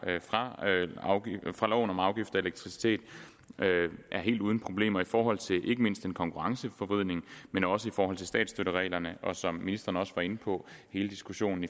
fra lov om afgift til elektricitet er helt uden problemer i forhold til en konkurrenceforvridning men også i forhold til statsstøttereglerne og som ministeren også var inde på hele diskussionen